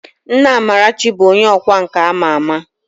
Nna Amarachi bụ onye ọkwá nkà a ma ama